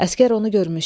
Əsgər onu görmüşdü.